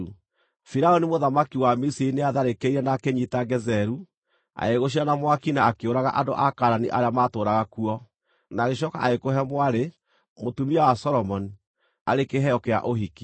Firaũni mũthamaki wa Misiri nĩatharĩkĩire na akĩnyiita Gezeru. Agĩgũcina na mwaki, na akĩũraga andũ a Kaanani arĩa maatũũraga kuo, na agĩcooka agĩkũhe mwarĩ, mũtumia wa Solomoni, arĩ kĩheo kĩa ũhiki.